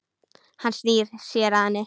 Hann snýr sér að henni.